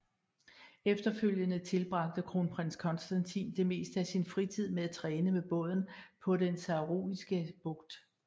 Efterfølgende tilbragte kronprins Konstantin det meste af sin fritid med at træne med båden på den Saroniske Bugt